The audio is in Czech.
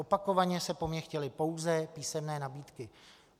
Opakovaně se po mně chtěly pouze písemné nabídky.